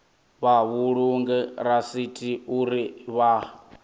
vha vhulunge rasithi uri vha